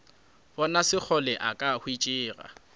bona sekgole a ka hwetšega